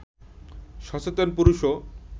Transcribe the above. সচেতন পুরুষও